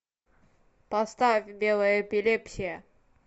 поставь белая эпилепсия